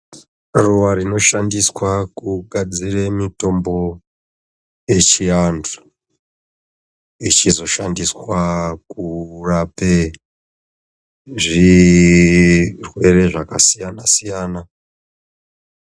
Ruwa rinoshandiswa kugadzire mitombo yechiantu ichizoshandiswa kurape zvirwere zvakasiyana siyana.